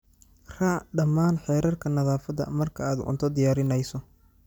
Raac dhammaan xeerarka nadaafadda marka aad cunto diyaarinayso.